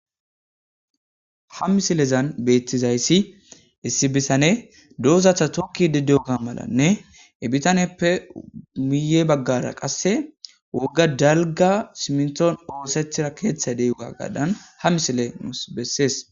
Ha misilezan beeththizayssi issi bithanee doozatha thokkiiddi diyoogaa malanne he bithaneppe miyye baggara qassi wogga dalgga simminththon ooseththira keeththay de7iyoogaagaadan ha misilee nus besses.